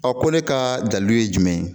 ko ne ka dalilu ye jumɛn ye